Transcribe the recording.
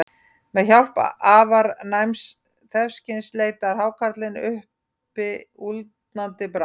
Með hjálp afar næms þefskyns leitar hákarlinn uppi úldnandi bráð.